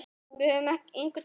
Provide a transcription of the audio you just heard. Við höfum engu að tapa.